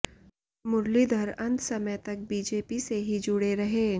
मुरलीधर अंत समय तक बीजेपी से ही जुड़े रहे